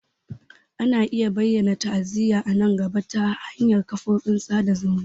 Ana iya bayyana ta'aziyya a nan gaba ta hanyar kafofin sada zumunta.